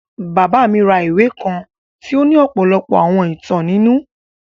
Baba mi ra ìwe kan tì o ni ọ́pọlọpọ́ àwọn ìtan ninu.